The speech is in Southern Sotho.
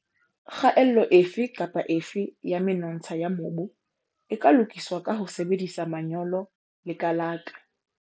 Kgaello efe kapa efe ya menontsha ya mobu e ka lokiswa ka ho sebedisa manyolo le kalaka.